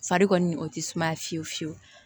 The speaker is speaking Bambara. Fari kɔni o tɛ sumaya fiyewu fiyewu